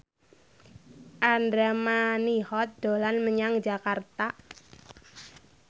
Andra Manihot dolan menyang Jakarta